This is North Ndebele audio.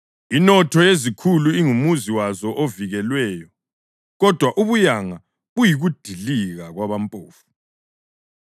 Inotho yezikhulu ingumuzi wazo ovikelweyo; kodwa ubuyanga buyikudilika kwabampofu.